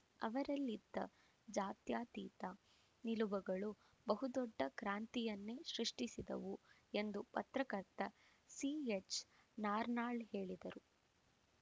ಅವರಲ್ಲಿದ್ದ ಜಾತ್ಯಾತೀತ ನಿಲುವುಗಳು ಬಹುದೊಡ್ಡ ಕ್ರಾಂತಿಯನ್ನೇ ಸೃಷ್ಟಿಸಿದವು ಎಂದು ಪತ್ರಕರ್ತ ಸಿಎಚ್‌ನಾರನಾಳ್‌ ಹೇಳಿದರು